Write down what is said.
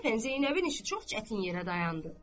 İnsafən Zeynəbin işi çox çətin yerə dayandı.